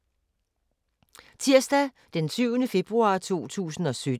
Tirsdag d. 7. februar 2017